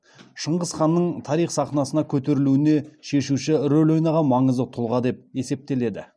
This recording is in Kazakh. шыңғыс ханның тарих сахнасына көтерілуінде шешуші рөл ойнаған маңызды тұлға деп есептеледі